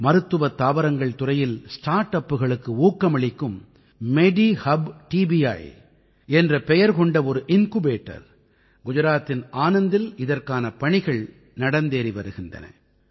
மருத்துவத் தாவரங்கள் துறையில் ஸ்டார்ட் அப்களுக்கு ஊக்கமளிக்கும் மெடிஹுப் டிபிஇ என்ற பெயர் கொண்ட ஒரு இன்குபேட்டர் குஜராத்தின் ஆனந்தில் இதற்கான பணிகள் நடந்தேறி வருகின்றன